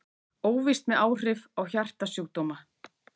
Óvíst með áhrif á hjartasjúkdóma